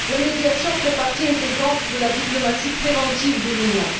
La médiation fait partie intégrante de la diplomatie préventive de l'Union.